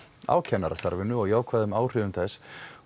á kennarastarfinu og jákvæðum áhrifum þess